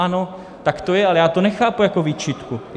Ano, tak to je, ale já to nechápu jako výčitku.